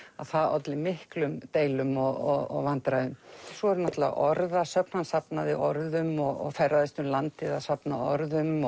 það olli miklum deilum og vandræðum svo eru náttúrulega orðasöfn hann safnaði orðum og ferðaðist um landið að safna orðum